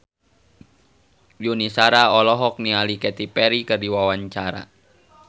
Yuni Shara olohok ningali Katy Perry keur diwawancara